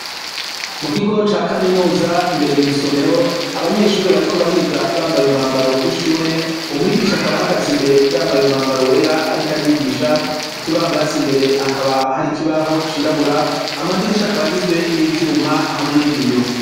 Mu kigo ca kaminuza imbere mwisomero abanyeshuri bariko bariga bambaye umwambaro w'ishure umwigisha akaba hagaza imbere yambaye umwambaro wera ariko arigisha kukibambaza imbere hakaba hari ikibaho cirabura, amadirisha akaba agizwe n'ivyuma hamwe n'ibiyo.